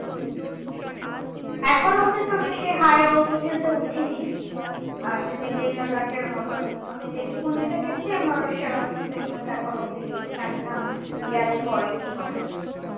এখনো অবদি আমি সেই high altitude এ উঠিনি আর যেমনি লে লাদাখের মতন আমি যেটুকুন ই তে গেছি আমার সেরকম sickness এখনো অবদি নেই জানিনা গেলে পরে কি হবে